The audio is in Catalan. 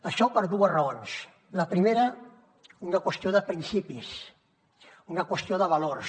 això per dues raons la primera una qüestió de principis una qüestió de valors